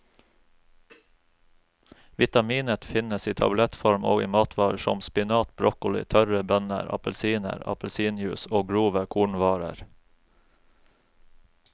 Vitaminet finnes i tablettform og i matvarer som spinat, broccoli, tørre bønner, appelsiner, appelsinjuice og grove kornvarer.